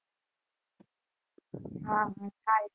હા હા